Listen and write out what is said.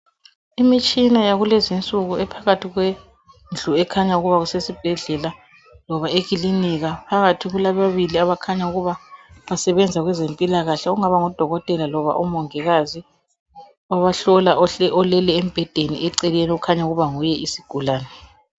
Imitshina yakulezi insuku ephakathi kwendlu ekhanya ukuba kusesibhedlela loba ekilinika phakathi kulababili abakhanya ukuba basebenza kwezempilakahle okungaba ngudokotela loba umongikazi abahlola oleleyo embhedeni okukhanya ukuba nguye isigulane.